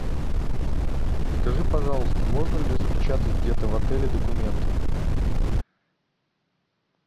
скажи пожалуйста можно ли распечатать где то в отеле документы